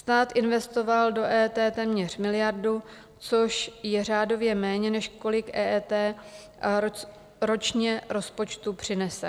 Stát investoval do EET téměř miliardu, což je řádově méně, než kolik EET ročně rozpočtu přinese.